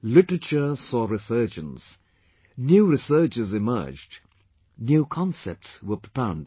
Literature saw resurgence, new researches emerged, new concepts were propounded